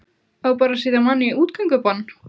Á bara að setja mann í útgöngubann?